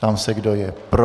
Ptám se, kdo je pro.